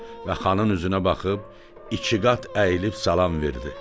Və xanın üzünə baxıb iki qat əyilib salam verdi.